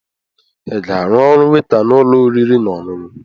Ị ga-arụ ọrụ weta n'ụlọ oriri na ọṅụṅụ?